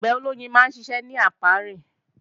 Àgbẹ̀ olóyin máa ń ṣiṣẹ́ ní ápíárì